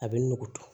A bɛ nugu